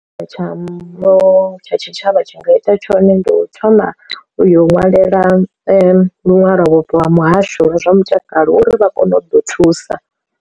Tshavho tsha tshitshavha tshi nga ita tshone ndi u thoma u yo ṅwalela luṅwalo vhubvo ha muhasho wa zwa mutakalo uri vha kone u ḓo thusa.